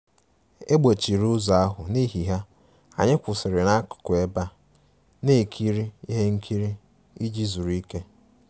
E gbochiri ụzọ ahụ, n'ihi ya, anyị kwụsịrị n'akụkụ ebe a na-ekiri ihe nkiri iji zuru ike